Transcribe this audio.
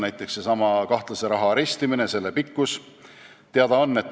Näiteks, seesama kahtlase raha arestimise pikkus.